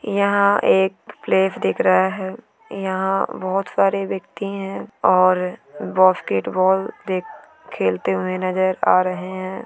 यहाँ एक प्लेस दिख रहा है यहाँ बहोत सारे व्यक्ति है और बॉस्केट बॉल देख खेलते हुए नज़र आ रहे है ।